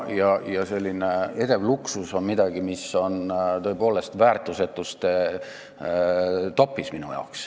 Ja edev luksus on midagi, mis on minu arvates tõepoolest väärtusetuste top'is.